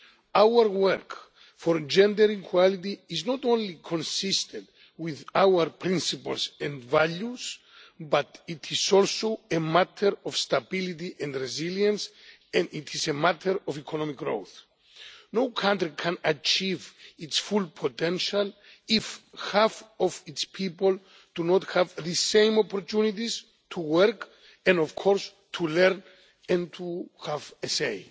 Our work for gender equality is not only consistent with our principles and values but it is also a matter of stability and resilience and it is a matter of economic growth. No country can achieve its full potential if half of its people do not have the same opportunities to work and, of course, to learn and to have a say.